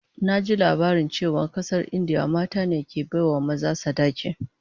Naji labarin cewa a kasar India mata ne ke bai wa maza sadaki